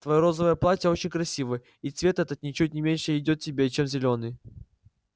твоё розовое платье очень красиво и цвет этот ничуть не меньше идёт тебе чем зелёный